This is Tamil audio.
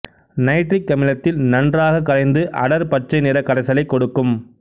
நைட்ரிக் அமிலத்தில் நன்றாக கரைந்து அடர் பச்சை நிறக் கரைசலைக் கொடுக்கும்